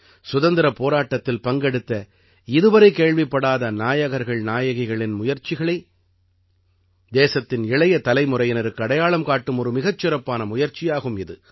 சுதந்திரப் போராட்டத்தில் பங்கெடுத்த இதுவரை கேள்விப்படாத நாயகர்கள்நாயகிகளின் முயற்சிகளை தேசத்தின் இளைய தலைமுறையினருக்கு அடையாளம் காட்டும் ஒரு மிகச் சிறப்பான முயற்சியாகும் இது